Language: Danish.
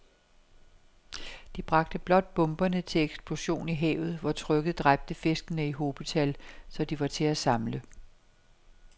De bragte blot bomberne til eksplosion i havet, hvor trykket dræbte fiskene i hobetal, så de var til at samle